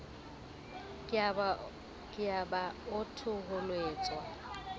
ke a ba a thoholetswa